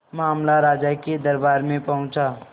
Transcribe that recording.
मामला राजा के दरबार में पहुंचा